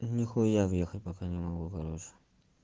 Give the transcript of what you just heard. нихуя въехать пока не могу короче